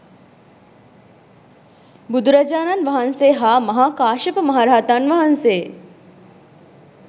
බුදුරජාණන් වහන්සේ හා මහා කාශ්‍යප මහ රහතන් වහන්සේ